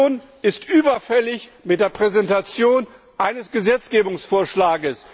Die Kommission ist überfällig mit der Präsentation eines Gesetzgebungsvorschlags.